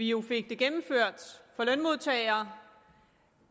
jo gennemført for lønmodtagere